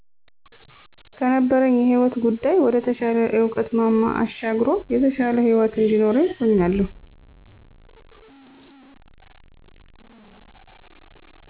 ከነበረኝ የህይወት ጉዳይ ወደ ተሻለ የእዉቀት ማማ አሻግሮ የተሻለ ህይወት እንዲኖርኝ ሁኛለሁ